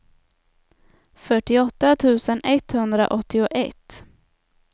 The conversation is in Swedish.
fyrtioåtta tusen etthundraåttioett